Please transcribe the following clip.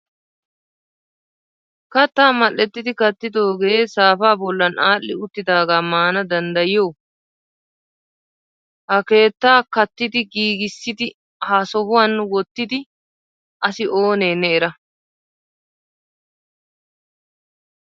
Katta mal"ettidi kaattidoogee saapa bollan aadhdhi uttidaaga maana danddayiyo? Ha ketta kattidi giigissidi ha sohuwan wottidi asi oone ne era